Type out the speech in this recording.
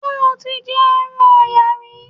Ṣé o ti jẹ ẹran Ọ̀yà rí?